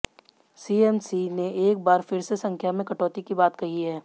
CMC ने एक बार फिर से संख्या में कटौती की बात कही है